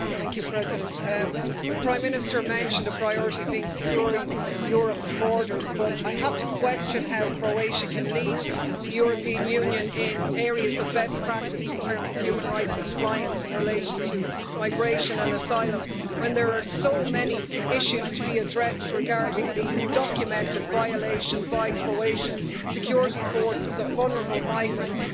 Madam President, the Prime Minister mentioned a priority being securing Europe's borders, but I have to question how Croatia can lead the European Union in areas of best practice in terms of human rights compliance in relation to migration and asylum when there are so many issues to be addressed regarding the documented violation by Croatian security forces of vulnerable migrants